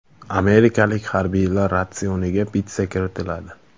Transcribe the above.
Amerikalik harbiylar ratsioniga pitssa kiritiladi.